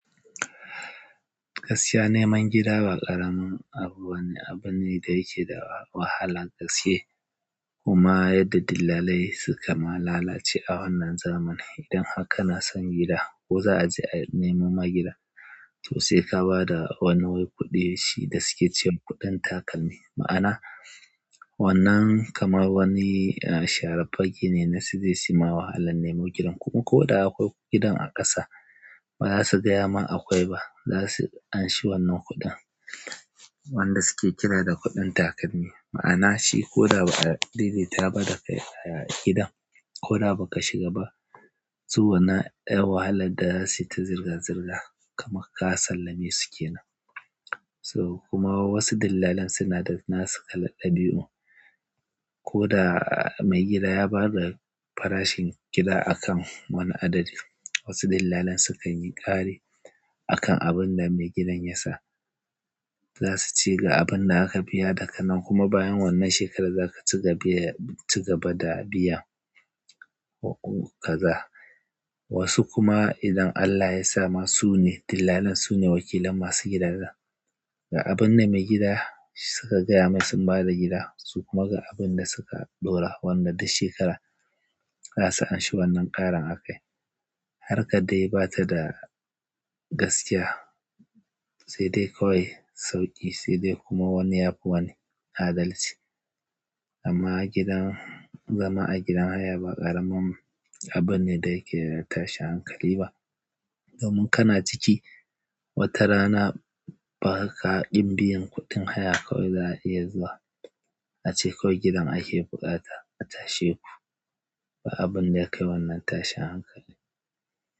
Gaskiya neman gida ba ƙaramin abu bane, abu ne da yale wahalar gaske. Kuma yadda dillalai suka ma lalace a wannan zamanin. Idan har kana son gida ko za'a je a nemo ma gida, to sai ka bada wani wai kuɗi shi da suke cewa kuɗin takalmi. Ma'ana wannan kamar wani sharar fage ne na suje suyi ma wahalan neman gidan. Kuma ko da akwai gidan a ƙasa ba za su gaya ma akwai ba. Zasu anshi wannan kuɗin wanda suke kira da kuɗin takalmi, ma'ana shi koda ba'a daidaita ba da kai a gidan koda baka shiga ba, su wannan 'yar wahalar da sukayi ma kamar ka sallame su ne. So kuma wasu dillalan suna da nasu kalar ɗabi'un. Ko da mai gida ya ba da farashin gida a kan wani adadi, wasu dillalan sukan yi ƙari a kan abin da mai gidan ya sa. Za su ce ga abinda zaka biya daga nan kuma bayan wannan shekarar za ka ci gaba, ci gaba da biyan kaza. Wasu kuma idan Allah ya sa ma sune dillalin sune wakilan masu gidajen. Ga abinda mai gida suka gaya mai sun bada gida su kuma ga abinda suka ɗora wannan duk shekara za su anshi wannan ƙarin a kai. Harkar dai ba ta da gaskiya, sai dai kawai sauƙi sai dai kuma wani ya fi wani adalci. Amma godan, zama a gidan haya ba ƙaramin abune da yake da tashin hankali ba. Domin kana ciki wata rana baka kin biyan kuɗin haya, kawai za'a iya zuwa ace kawai gidan ake buƙata a tashe ku, ba abinda ya kai wannan tashin hankali.